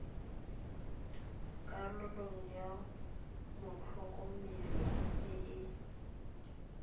karolo ya motlhokomelwa e e